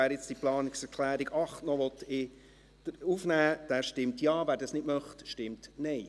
Wer nun diese Planungserklärung 8 aufnehmen möchte, stimmt Ja, wer dies nicht möchte, stimmt Nein.